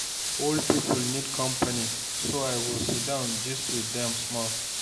Old people need company, so I go sit down gist with them small.